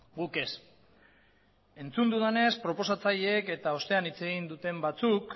guk ez entzun dudanez proposatzaileek eta ostean hitz egin duten batzuk